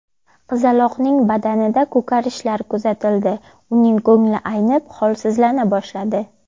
Qizaloqning badanida ko‘karishlar kuzatildi, uning ko‘ngli aynib, holsizlana boshladi.